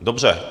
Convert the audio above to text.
Dobře.